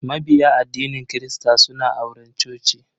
Mabiya addinin kirista suna auren coci.